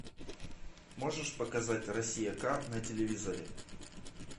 можешь показать россия ка на телевизоре